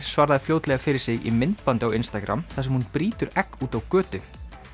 svaraði fljótlega fyrir sig í myndbandi á þar sem hún brýtur egg úti á götu